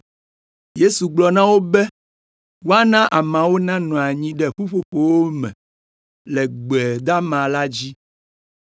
Yesu gblɔ na wo be woana ameawo nanɔ anyi ɖe ƒuƒoƒowo me le gbe dama la dzi.